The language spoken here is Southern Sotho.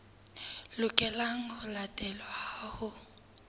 lokelang ho latelwa ha ho